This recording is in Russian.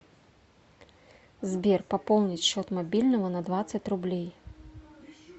сбер пополнить счет мобильного на двадцать рублей